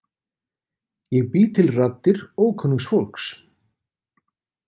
Ég bý til raddir ókunnugs fólks.